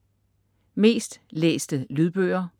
Mest læste lydbøger